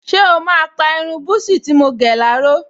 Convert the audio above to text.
Ṣé o máa pa irun búsí tí mo gẹ̀ láró?